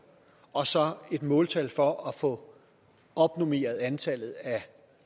og så et måltal for at få opnormeret antallet af